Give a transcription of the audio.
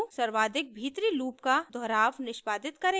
redo सर्वाधिक भीतरी loop का दोहराव निष्पादित करेगा